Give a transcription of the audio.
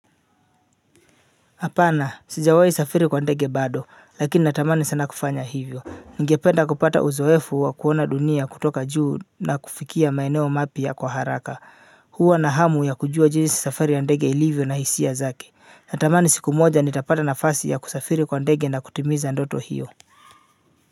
Hapana, sijawai safiri kwa ndege bado, lakini natamani sana kufanya hivyo. Ningependa kupata uzoefu wa kuona dunia kutoka juu na kufikia maeneo mapya kwa haraka. Huwa na hamu ya kujua jinsi safari ya ndege ilivyo na hisia zake. Natamani siku moja nitapata nafasi ya kusafiri kwa ndege na kutimiza ndoto hiyo.